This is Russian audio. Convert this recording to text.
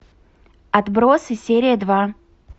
отбросы серия два